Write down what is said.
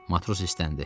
Matros istəndi.